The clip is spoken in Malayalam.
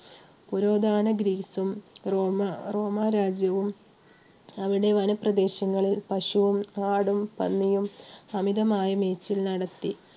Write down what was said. പുരാതന ഗ്രീസും റോമ~റോമാ രാജ്യവും അവിടെ വനപ്രദേശങ്ങളിൽ പശുവും ആടും പന്നിയും അമിതമായി മേച്ചിൽ നടത്തി